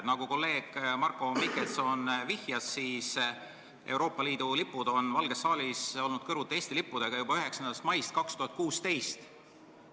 Nagu kolleeg Marko Mihkelson ütles, Euroopa Liidu lipud on Valges saalis olnud kõrvuti Eesti lippudega juba 9. maist 2016.